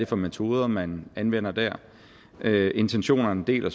for metoder man anvender der intentionerne deler